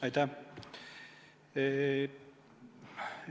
Aitäh!